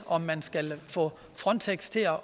om man skal få frontex til at